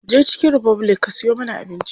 Je chicken republic ka siyo mana abinci.